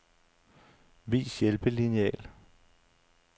Vis hjælpelineal.